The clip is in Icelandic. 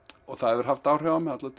og það hefur haft áhrif á mig allar